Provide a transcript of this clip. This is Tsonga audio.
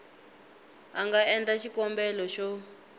a nga endla xikombelo xo